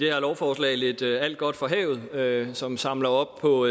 lovforslag lidt alt godt fra havet som samler op på